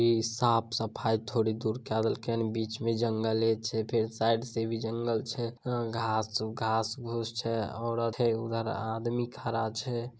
इ साफ सफाई थोड़ी दूर कएल गएनी बीच में जंगल छै फिर साइड से भी जंगल छै घास उ घास फुस छै औरत है उधर आदमी खड़ा छै।